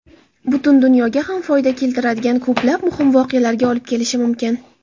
butun dunyoga ham foyda keltiradigan ko‘plab muhim voqealarga olib kelishi mumkin.